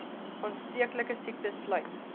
aansteeklike siektes sluit